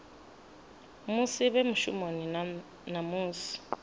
musi vhe mushumoni na musi